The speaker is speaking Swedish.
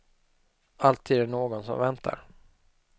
Alltid är det någon som väntar.